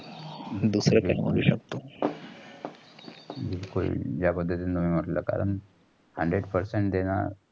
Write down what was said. बिलकुल जा पद्धतींनी आपल कारण hundred percent देणार.